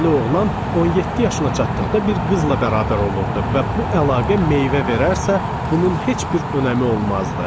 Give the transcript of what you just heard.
Kəndli oğlan 17 yaşına çatdıqda bir qızla bərabər olurdu və bu əlaqə meyvə verərsə, bunun heç bir önəmi olmazdı.